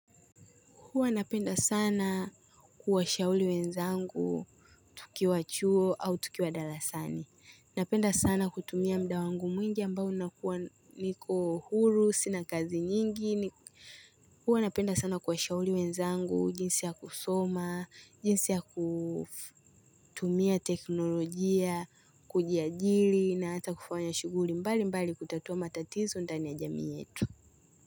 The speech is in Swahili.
Huwa napenda sana kuwashauri wenzangu tukiwa chuo au tukiwa darasani. Napenda sana kutumia muda wangu mwingi ambao nakuwa niko huru, sina kazi nyingi. Huwa napenda sana kuwashauri wenzangu, jinsi ya kusoma, jinsi ya kutumia teknolojia, kujiajiri na hata kufanya shughuli mbali mbali kutatua matatizo ndani ya jamii yetu.